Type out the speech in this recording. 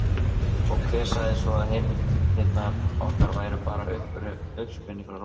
Og hver sagði svo að heimildirnar okkar væru bara uppspuni frá rótum?